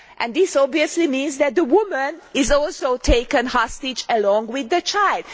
This obviously means that the woman is also taken hostage along with the child.